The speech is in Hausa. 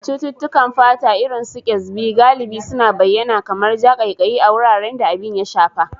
Cututtukan fata, irin su Kyasbi, galibi suna bayyana kamar ja, ƙaiƙayi, a wuraren da abin ya shafa.